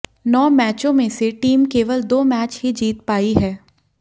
नौ मैचों में से टीम केवल दो मैच ही जीत पाई है